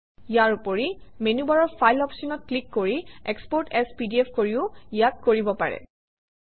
ইয়াৰ উপৰি মেনুবাৰৰ ফাইল অপশ্যনত ক্লিক কৰি এক্সপোৰ্ট এএছ পিডিএফ কৰিও ইয়াক কৰিব পাৰি